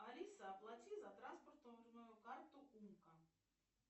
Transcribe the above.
алиса оплати за транспортную карту умка